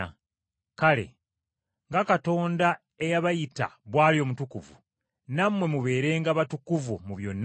Kale, nga Katonda eyabayita bw’ali omutukuvu, nammwe mubeerenga batukuvu mu byonna bye mukola.